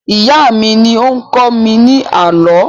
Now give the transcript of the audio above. Ìyá mí ní ó ń kọ́ mi ní àlọ́